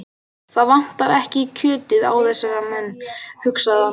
Það vantar ekki kjötið á þessa menn, hugsaði hann.